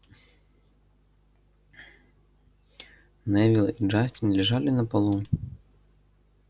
невилл и джастин лежали на полу